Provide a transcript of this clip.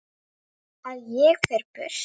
Að ég fer burt.